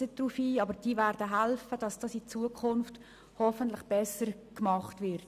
Sie werden hoffentlich helfen, dass dieses Controlling in Zukunft besser gemacht wird.